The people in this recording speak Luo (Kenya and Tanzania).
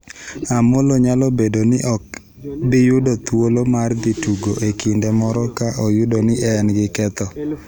Amollo nyalo bedo ni ok bi yudo thuolo mar dhi tugo e kinde moro ka oyud ni en gi ketho.